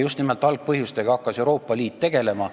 Just nimelt algpõhjustega hakkas Euroopa Liit siis tegelema.